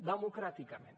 democràticament